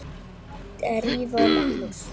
Drífa og Magnús.